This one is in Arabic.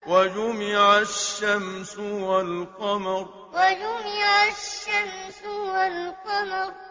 وَجُمِعَ الشَّمْسُ وَالْقَمَرُ وَجُمِعَ الشَّمْسُ وَالْقَمَرُ